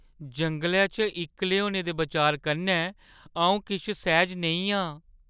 जंगलै इच्च इक्कले होने दे बचार कन्नै अ‘ऊ किश सैह्ज नेईं आ ।